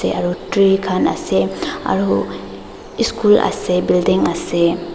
aro tree khan ase aro eschool ase building ase.